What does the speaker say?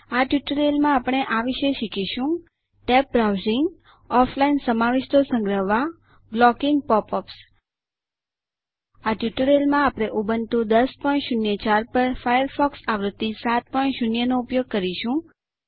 આ ટ્યુટોરીયલમાં આપણે આ વિશે શીખીશું ટેબ્ડ બ્રાઉઝિંગ ઑફલાઇન સમાવિષ્ટો સંગ્રહવા બ્લોકીંગ પૉપ અપ્સ આ ટ્યુટોરીયલમાં આપણે ઉબુન્ટુ 1004 પર ફાયરફોક્સ આવૃત્તિ 70 નો ઉપયોગ કરીશું